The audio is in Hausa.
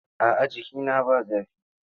A'a jikina ba zafi.